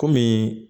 Kɔmi